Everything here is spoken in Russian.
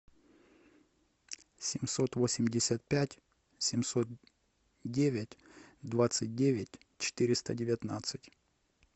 семьсот восемьдесят пять семьсот девять двадцать девять четыреста девятнадцать